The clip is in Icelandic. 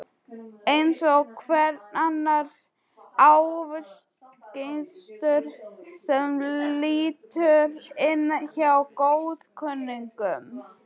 Eins og hver annar aufúsugestur sem lítur inn hjá góðkunningjum.